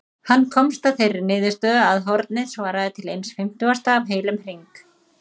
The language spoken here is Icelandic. Hann komst að þeirri niðurstöðu að hornið svaraði til eins fimmtugasta af heilum hring.